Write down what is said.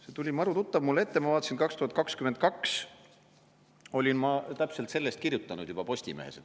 See tuli maru tuttav mulle ette ja ma vaatasin, 2022 olin ma täpselt sellest kirjutanud Postimehes.